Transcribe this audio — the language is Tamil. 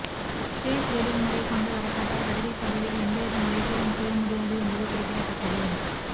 பேஸ் ரீடிங் முறை கொண்டு வரப்பட்டால் வருகைப்பதிவில் எந்தவித முறைகேடும் செய்ய முடியாது என்பது குறிப்பிடத்தக்கது